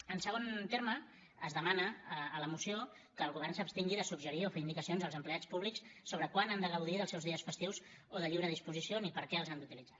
en segon terme es demana a la moció que el govern s’abstingui de suggerir o fer indicacions als empleats públics sobre quan han de gaudir dels seus dies festius o de lliure disposició ni per a què els han d’utilitzar